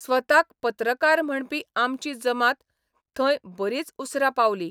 स्वताक पत्रकार म्हणपी आमची जमात थंय बरीच उसरां पावली.